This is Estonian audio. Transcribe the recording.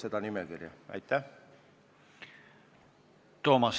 Toomas Kivimägi, palun!